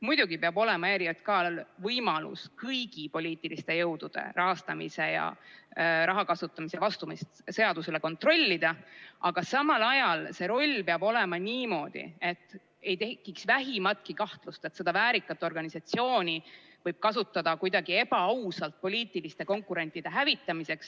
Muidugi peab olema ERJK-l võimalus kõigi poliitiliste jõudude rahastamise ja raha kasutamise vastavust seadusele kontrollida, aga samal ajal see roll peab olema selline, et ei tekiks vähimatki kahtlust, et seda väärikat organisatsiooni võidakse kasutada kuidagi ebaausalt, poliitiliste konkurentide hävitamiseks.